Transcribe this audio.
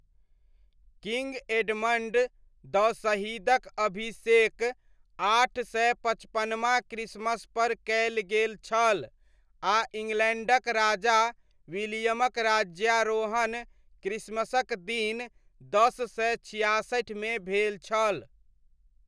King Edmund the शहीदक अभिषेक आठ सय पचपनमा क्रिसमसपर कयल गेल छल आ इङ्ग्लैण्डक राजा विलियमक राज्यारोहण क्रिसमसक दिन दस सय छियासठिमे भेल छल।